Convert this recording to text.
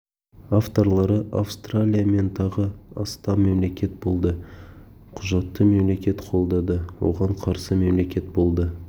авторлары австралия мен тағы астам мемлекет болды құжатты мемлекет қолдады оған қарсы мемлекет болды